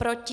Proti?